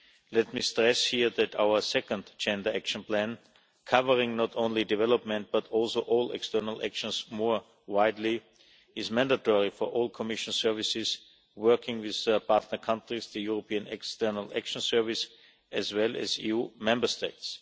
Let me stress here that our second Gender Action Plan, covering not only development but also all external actions more widely, is mandatory for all Commission services working with partner countries, the European External Action Service, as well as EU Member States.